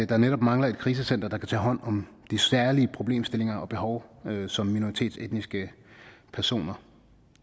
der netop mangler et krisecenter der kan tage hånd om de særlige problemstillinger og behov som minoritetsetniske personer